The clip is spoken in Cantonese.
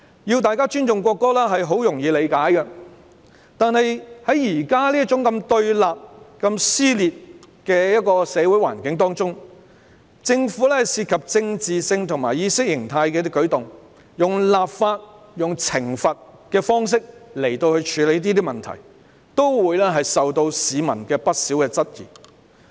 要大家尊重國歌，是很容易理解的，但在現時如此對立、撕裂的社會環境中，政府涉及政治及意識形態的舉動，以立法、懲罰的方式來處理問題，會受到市民不少質疑。